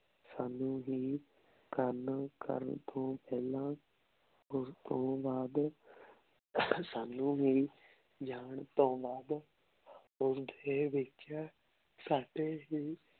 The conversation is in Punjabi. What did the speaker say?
ਸਾਨੂ ਹੀ ਕਰਨ ਕਰਨ ਤੋਂ ਪੇਹ੍ਲਾਂ ਓਸ ਤੋਂ ਬਾਅਦ ਸਾਨੂ ਹੀ ਜਾਂ ਤੋਂ ਬਾਅਦ ਓਸਦੇ ਵਿਚ ਸਾਡੇ ਹੀ